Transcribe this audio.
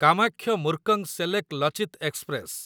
Kamakhya Murkongselek Lachit express